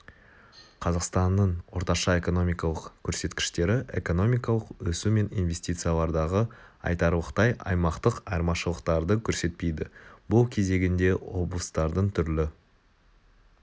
қазақстанның орташа экономикалық көрсеткіштері экономикалық өсу мен инвестициялардағы айтарлықтай аймақтық айырмашылықтарды көрсетпейді бұл өз кезегінде облыстардың түрлі